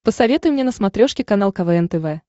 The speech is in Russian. посоветуй мне на смотрешке канал квн тв